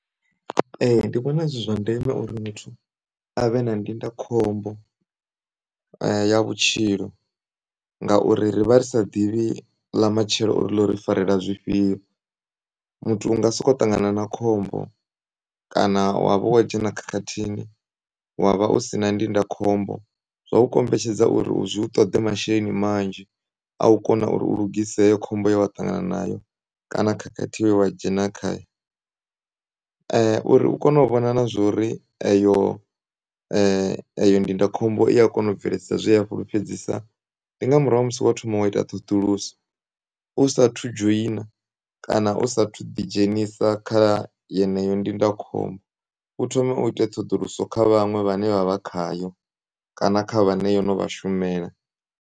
E, ndivhona zwi zwandeme uri muthu avhe na ndindakhombo ya vhutshilo ngauri rivha risaḓivhi lamatshelo uri ḽo ri farela zwifhiyo. Muthu unga soko ṱangana na khombo kana wa vha wodzhena khakhathini wavha u si na ndindakhombo. Zwaukombetshedza uri zwi u ṱoḓe masheleni manzhi a ukona uri u lugise heyo khombo ye wa ṱangana nayo kana khakhathi ye wadzhena khayo, uri u kone u vhona nazwori eyo eyo ndindakhombo iya kona u bveledzisa zwe ya fhulufhedzisa. Ndi ngamurahu ha musi wo thoma wa ita ṱhoḓuluso usathu dzhoyina, kana u sathu ḓi dzhenisa kha yeneyo ndindakhombo u thome u ite ṱhoḓuluso kha vhaṅwe vhane vha vha khayo kana kha vhane yono vha shumela.